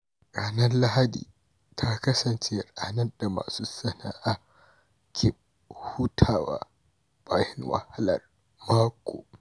Ranar Lahadi ta kasance ranar da masu sana’a ke hutawa bayan wahalar mako.